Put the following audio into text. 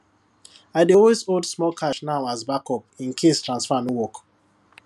i dey always hold small cash now as back up in case transfer no work